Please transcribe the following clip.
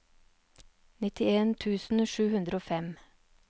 nittien tusen sju hundre og fem